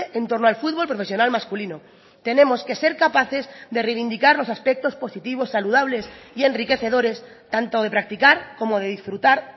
en torno al fútbol profesional masculino tenemos que ser capaces de reivindicar los aspectos positivos saludables y enriquecedores tanto de practicar como de disfrutar